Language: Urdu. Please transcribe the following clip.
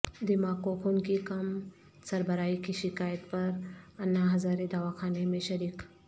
دماغ کو خون کی کم سربراہی کی شکایت پر انا ہزارے دواخانہ میں شریک